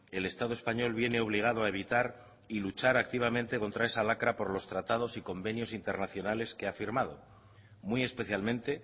el estado español viene obligado a evitar y luchar activamente contra esa lacra por lo tratados y convenios internacionales que ha firmado muy especialmente